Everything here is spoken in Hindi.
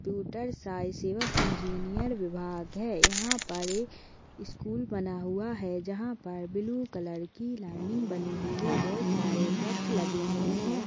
कंप्यूटर साइंस एवं इंजीनियर विभाग है यहाँ पर स्कूल बना हुआ है जहाँ पर ब्लू कलर की लाइनिंग बनी हुई है बहुत सारे वृक्ष लगे हुए है।